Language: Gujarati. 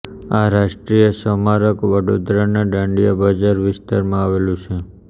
આ રાષ્ટ્રીય સ્મારક વડોદરાના દાંડિયા બજાર વિસ્તારમાં આવેલું છે